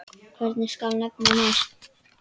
Hvern skal nefna næst?